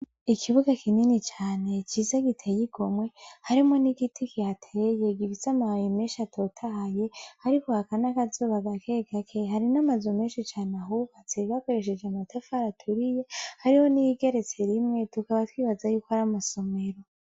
Ikibuga kinini cane ciza giteye igomwe harimwo n'igiti kihateye gifise amababi menshi atotahaye ariko haka n'akazuba gakegake hari n'amazu menshi cane ahubatse bakoresheje amatafari aturiye hariho n'iyigeretse rimwe tukaba twibaza yuko ari amasomero.